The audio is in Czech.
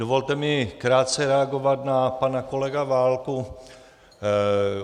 Dovolte mi krátce reagovat na pana kolegu Válka.